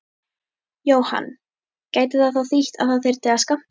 Jóhann: Gæti það þá þýtt að það þyrfti að skammta?